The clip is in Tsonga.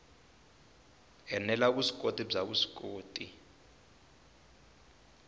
ene la vuswikoti bya vuswikoti